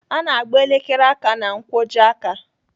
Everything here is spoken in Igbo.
Ana agba elekere aka ná nkwojiaka.